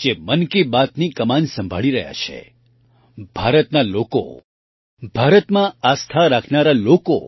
જે મન કી બાતની કમાન સંભાળી રહ્યા છે ભારતના લોકો ભારતમાં આસ્થા રાખનારા લોકો